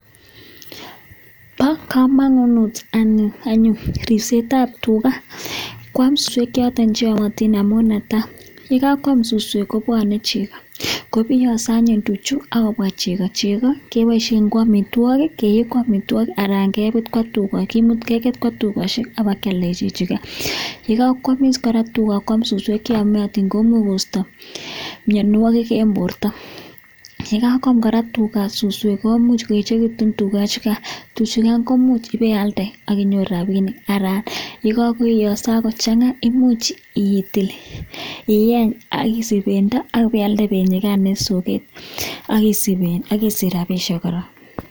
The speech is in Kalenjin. Bo komonut anyun mising ribset tab tuka Kiam suswek choton cheyomotin amun yekakwam suswek kobuonen chego kobiyoso anyun tuchu akobwa cheko chego keiboishen ko Amitwokik Alan beik Koba tukoshe akialde kararan kora kwam suswek cheyomotin imuch kosto mionwonik en borto yekakwam kora tuga suswek komuch koechekitun tuga imuch ibealde akinyoru rabinik aln yekako change isich bendo Akibealde benyukan en soget ak isich rabinik.